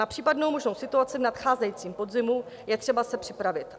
Na případnou možnou situaci v nadcházejícím podzimu je třeba se připravit.